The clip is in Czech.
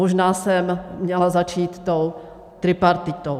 Možná jsem měla začít tou tripartitou.